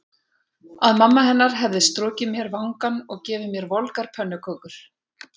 Að mamma hennar hefði strokið mér vangann og gefið mér volgar pönnukökur.